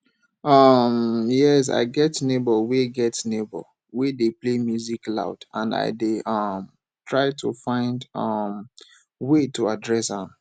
um yes i get neighbor wey get neighbor wey dey play music loud and i dey um try to find um way to address am